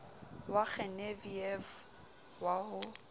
wa genevieve wa ho ba